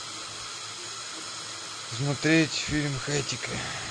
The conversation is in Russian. смотреть фильм хатико